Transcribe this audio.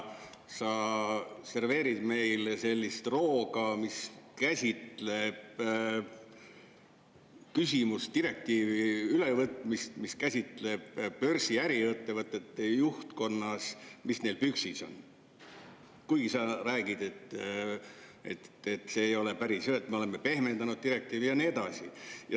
Sa serveerid meile sellist rooga, direktiivi ülevõtmist, mis käsitleb seda, mis börsiäriettevõtete juhtkonnal püksis on, kuigi sa räägid, et see ei ole päris nii, me oleme seda direktiivi pehmendanud, ja nii edasi.